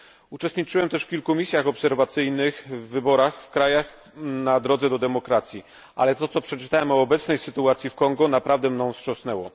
Uczestniczyłem też w kilku misjach obserwacyjnych, w wyborach w krajach na drodze do demokracji, ale to, co przeczytałem o obecnej sytuacji w Kongu, naprawdę mną wstrząsnęło.